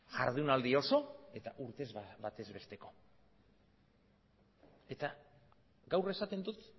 jardunaldi oso eta urtez batez besteko eta gaur esaten dut